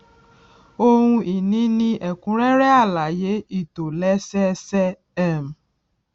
ohun ìní ní ẹkúnrẹrẹ alaye ìtòlésẹẹsẹ um